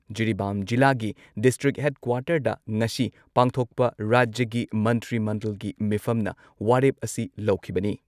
ꯖꯤꯔꯤꯕꯥꯝ ꯖꯤꯂꯥꯒꯤ ꯗꯤꯁꯇ꯭ꯔꯤꯛ ꯍꯦꯗꯀ꯭ꯋꯥꯔꯇꯔꯗ ꯉꯁꯤ ꯄꯥꯡꯊꯣꯛꯄ ꯔꯥꯖ꯭ꯌꯒꯤ ꯃꯟꯇ꯭ꯔꯤ ꯃꯟꯗꯜꯒꯤ ꯃꯤꯐꯝꯅ ꯋꯥꯔꯦꯞ ꯑꯁꯤ ꯂꯧꯈꯤꯕꯅꯤ ꯫